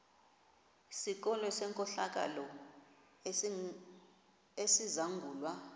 sikolo senkohlakalo esizangulwa